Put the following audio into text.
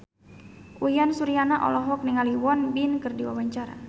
Uyan Suryana olohok ningali Won Bin keur diwawancara